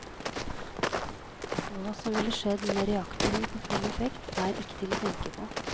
Hva som ville skjedd med reaktoren på full effekt, er ikke til å tenke på.